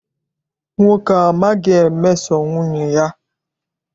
Nwoke a amaghi emeso nwunye ya.